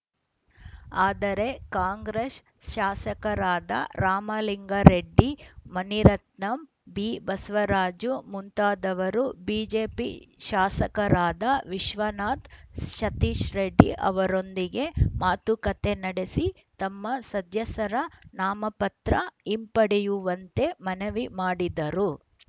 ಆದರೆ ಕಾಂಗ್ರೆಸ್‌ ಶಾಸಕರಾದ ರಾಮಲಿಂಗಾರೆಡ್ಡಿ ಮುನಿರತ್ನ ಬಿಬಸವರಾಜು ಮುಂತಾದವರು ಬಿಜೆಪಿ ಶಾಸಕರಾದ ವಿಶ್ವನಾಥ್‌ ಸತೀಶ್‌ರೆಡ್ಡಿ ಅವರೊಂದಿಗೆ ಮಾತುಕತೆ ನಡೆಸಿ ತಮ್ಮ ಸದಸ್ಯರ ನಾಮಪತ್ರ ಹಿಂಪಡೆಯುವಂತೆ ಮನವಿ ಮಾಡಿದರು